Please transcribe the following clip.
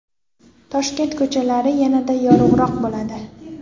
Toshkent ko‘chalari yanada yorug‘roq bo‘ladi.